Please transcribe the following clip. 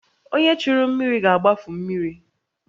Onye churu mmiri ga-agbafu mmiri